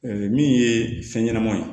min ye fɛn ɲɛnamaw ye